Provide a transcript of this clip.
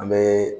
An bɛ